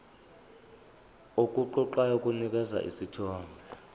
okuqoqayo kunikeza isithombe